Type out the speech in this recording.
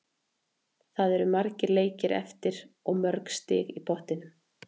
Það eru margir leikir eftir og mörg stig í pottinum.